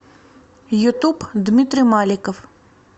ютуб дмитрий маликов